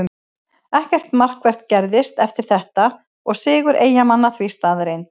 Ekkert markvert gerðist eftir þetta og sigur Eyjamanna því staðreynd.